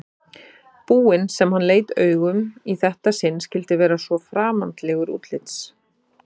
búinn sem hann leit augum í þetta sinn skyldi vera svo framandlegur útlits.